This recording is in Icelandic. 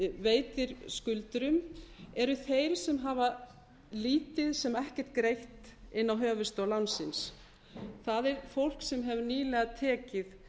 veitir skuldurum eru þeir sem hafa lítið sem ekkert greitt inn á höfuðstól lánsins það er fólk sem hefur nýlega tekið